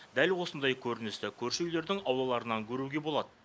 дәл осындай көріністі көрші үйлердің аулаларынан көруге болады